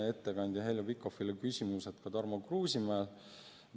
Ettekandja Heljo Pikhofile oli küsimusi Tarmo Kruusimäel.